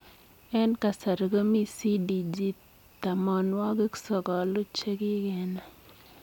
Eng kasarii komii CDG tamanwagik sokoluu chekikenai.